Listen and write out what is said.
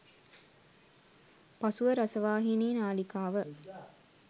පසුව රසවාහිනී නාලිකාව